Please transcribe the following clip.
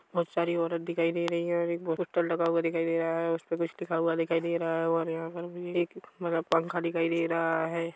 बहुत सारी औरत दिखाई दे रही है और एक पोस्टर लगा हुआ दिखाई दे रहा है उसपे कुछ लिखा हुआ दिखाई दे रहा है और यहाँ पर भी एक मतलब पंखा भी दिखाई दे रहा हैं।